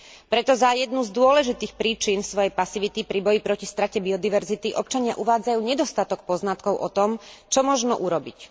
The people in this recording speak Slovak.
Preto za jednu z dôležitých príčin svojej pasivity pri boji proti strate biodiverzity občania uvádzajú nedostatok poznatkov o tom, čo možno urobiť.